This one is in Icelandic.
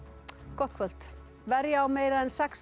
gott kvöld verja á meira en sex